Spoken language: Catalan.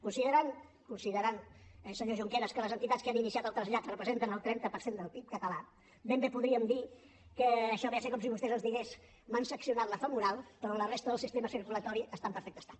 considerant senyor junqueras que les entitats que han iniciat el trasllat representen el trenta per cent del pib català ben bé podríem dir que això ve a ser com si vostè ens digués m’han seccionat la femoral però la resta del sistema circulatori està en perfecte estat